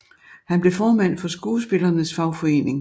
Han blev formand for skuespillernes fagforening